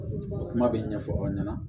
Kuma bɛ ɲɛfɔ aw ɲɛna